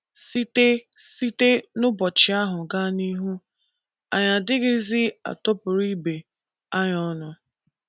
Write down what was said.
Site Site n’ụbọchị ahụ gaa n’ihu, anyị adịghịzi atụpụrụ ibe anyị ọnụ.